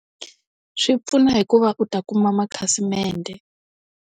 Swi pfuna hi ku va u ta kuma makhasimende.